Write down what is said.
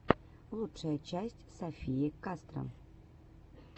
лучшая часть софии кастро